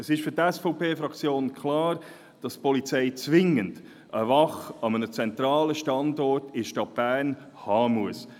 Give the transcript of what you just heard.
Es ist für die SVP-Fraktion klar, dass die Polizei zwingend eine Wache an einem zentralen Standort in der Stadt Bern haben muss.